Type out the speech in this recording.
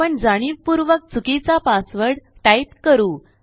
आपण जाणीवपूर्वक चुकीचा पासवर्ड टाईप करू